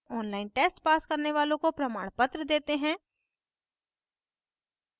online test pass करने वालों को प्रमाणपत्र देते हैं